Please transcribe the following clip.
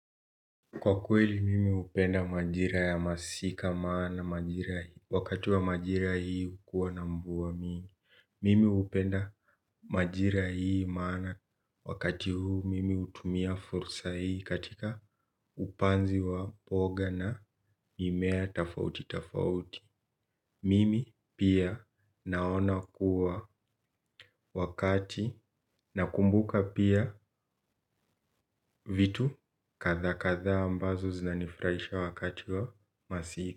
Kwa kweli mimi upenda majira ya masika maana majira hii wakati wa majira hii ukuwa na mvuwa mingi. Mimi upenda majira hii maana wakati huu mimi utumia fursa hii katika upanzi wa poga na mimea tafauti tafauti. Mimi pia naona kuwa wakati na kumbuka pia vitu katha katha ambazo zinanifraisha wakati wa masika.